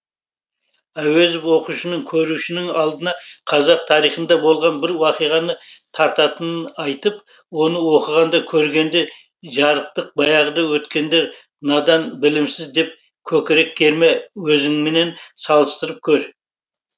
әуезов оқушының көрушінің алдына қазақ тарихында болған бір уақиғаны тартатынын айтып оны оқығанда көргенде жарықтық баяғыда өткендер надан білімсіз деп көкірек керме өзіңмен салыстырып көр